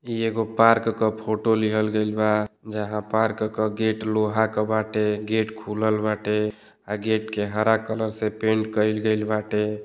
इ एगो पार्क का फोटो लिहल गइल बा जहां पार्क क गेट लोहा क बाटे गेट खुलल बाटे आ गेट के हरा कलर से पैंट कइल गैल बाटे।